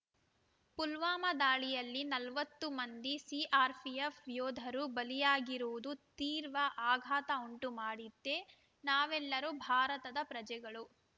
ಪುಲ್ವಾಮ ದಾಳಿಯಲ್ಲಿ ನಲವತ್ತು ಮಂದಿ ಸಿಆರ್‌ಪಿಎಫ್ ಯೋಧರು ಬಲಿಯಾಗಿರುವುದು ತೀರ್ವ ಆಘಾತ ಉಂಟು ಮಾಡಿದೆ ನಾವೆಲ್ಲರೂ ಭಾರತದ ಪ್ರಜೆಗಳು